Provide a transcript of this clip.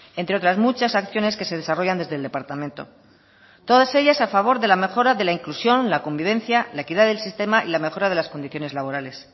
entre otras muchas acciones que se desarrollan desde el departamento todas ellas a favor de la mejora de la inclusión la convivencia la equidad del sistema y la mejora de las condiciones laborales